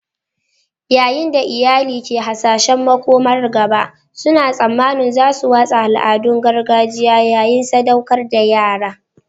Yayin da iyali ke hasashen makomar gaba, suna tsammanin za su watsa al'adun gargajiya yayin sadaukar da yara